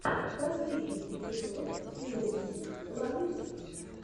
последний эпизод милусик ланусик